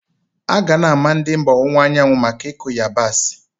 A ga na ama ndị mba owunwa anyawu maka ikụ yabasị.